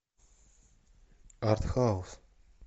артхаус